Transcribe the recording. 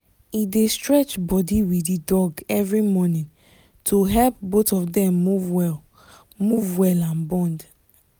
he dey stretch body with the dog every morning to help both of them move well move well and bond